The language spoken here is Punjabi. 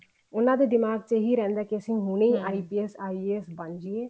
ਉਹਨਾ ਦੇ ਦਿਮਾਗ ਇਹੀ ਰਹਿੰਦਾ ਕੇ ਅਸੀਂ IAS IPSਬਣ ਜੀਏ